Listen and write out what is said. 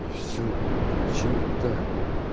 и все зачем так